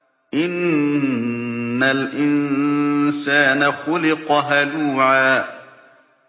۞ إِنَّ الْإِنسَانَ خُلِقَ هَلُوعًا